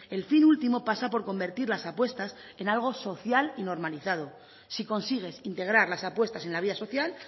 el fin último pasa por convertir las apuestas en algo social y normalizado si consigues integrar las apuestas en la vida social